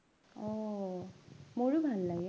আহ মোৰো ভাল লাগে